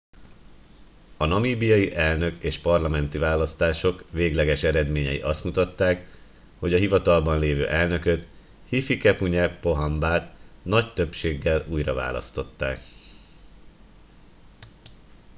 a namíbiai elnök és parlamenti választások végleges eredményei azt mutatták hogy a hivatalban lévő elnököt hifikepunye pohamba t nagy többséggel újraválasztották